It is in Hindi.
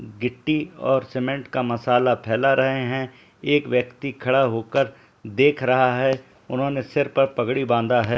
गिट्टी और सीमेंट का मसाला फैला रहे है एक व्‍यक्ति खड़ा होकर देख रहा हैउन्‍होंने सिर पर पगड़ी बांधा हैं।